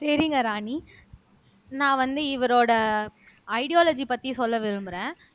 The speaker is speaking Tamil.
சரிங்க ராணி நான் வந்து இவரோட ஐடியாலஜி பத்தி சொல்ல விரும்புறேன்